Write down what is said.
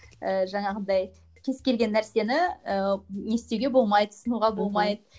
і жаңағындай кез келген нәрсені ііі не істеуге болмайды ұсынуға болмайды